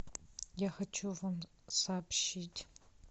я хочу вам сообщить